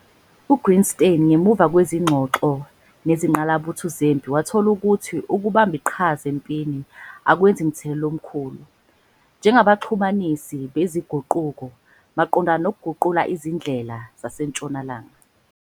UGreenstein, 1978, ngemuva kwezingxoxo nezingqalabutho zempi wathola ukuthi ukubamba iqhaza empini akwenzi mthelela omkhulu kuNyongik, njengabaxhumanisi bezinguquko, maqondana nokuguqula izindlela zasentshonalanga.